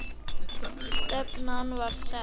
Stefnan var sett.